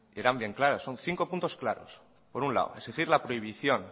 que eran bien claras son cinco puntos claros por un lado exigir la prohibición